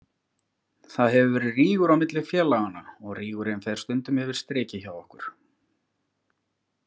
Það hefur verið rígur á milli félaganna og rígurinn fer stundum yfir strikið hjá okkur.